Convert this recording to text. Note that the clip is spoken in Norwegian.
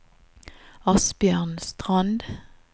Asbjørn Strand